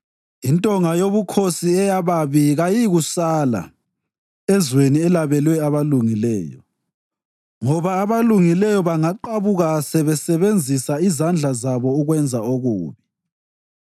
Intonga yobukhosi eyababi kayiyikusala ezweni elabelwe abalungileyo, ngoba abalungileyo bangaqabuka sebesebenzisa izandla zabo ukwenza okubi.